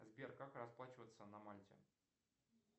сбер как расплачиваться на мальте